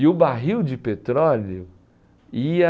E o barril de petróleo ia...